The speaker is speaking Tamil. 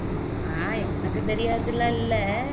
ஆஹ் எனக்கு தெரியாததுலாம் இல்ல